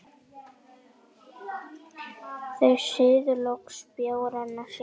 Þau suðu loks bjórana sína.